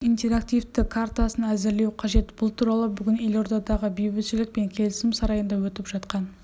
қазақстан халқының интерактивті картасын әзірлеу қажет бұл туралы бүгін елордадағы бейбітшілік пен келісім сарайында өтіп жатқан